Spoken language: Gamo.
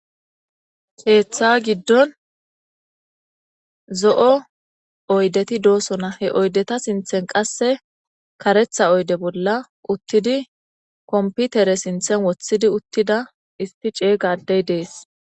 Keeththa giddon zo'o oydeti doosona he oydeta sinththen qasse kareththa oyde bolla uttidi komputere sinththen woththidi uttida issi ceega addey dees.